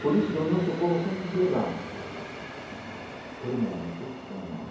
Por isso que o nosso povo sempre se levanta por mérito da mãe.